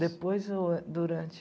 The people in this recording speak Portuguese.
Depois ou durante?